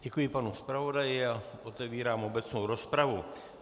Děkuji panu zpravodaji a otevírám obecnou rozpravu.